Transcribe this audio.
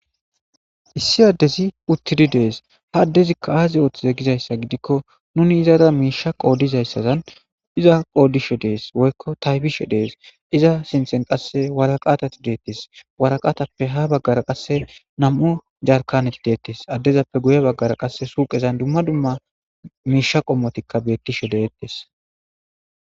Issi addezi uttidi dees ha addezikka aazi ooththize gizayssa gidikko nuni izara miisha qoodizayssazan iza qoodishe dees woykko taybishe dees iza sinthen qasse waraqatati deettes waraqatappe ha baggara qasse nam'u jarkaneti deettes addezappe guye baggara qasse suuqezan dumma dumma miisha qommotikka beettishe deettes.